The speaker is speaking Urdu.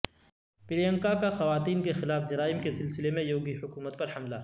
پرینکا کا خواتین کے خلاف جرائم کے سلسلے میں یوگی حکومت پر حملہ